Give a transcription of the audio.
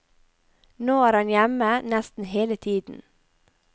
Nå er han hjemme nesten hele tiden.